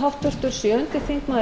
annarrar umræðu